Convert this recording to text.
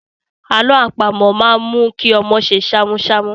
Àlọ́ àpamọ̀ máa ń mú kí ọmọ ṣe ṣámúṣámú.